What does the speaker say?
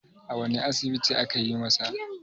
a wane asibiti aka yi masa?